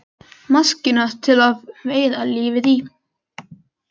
Maskína til að veiða lífið í.